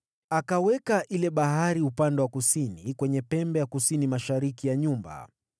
Akaweka ile Bahari upande wa kusini, kwenye pembe ya kusini mashariki ya nyumba.